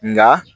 Nka